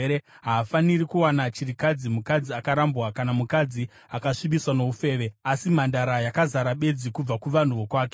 Haafaniri kuwana chirikadzi, mukadzi akarambwa kana mukadzi akasvibiswa noufeve asi mhandara yakazara bedzi kubva kuvanhu vokwake,